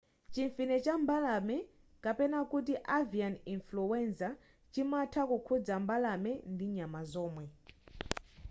chimfine cha mbalame kapena kuti avian influenza chimatha kukhudza mbalame ndi nyama zomwe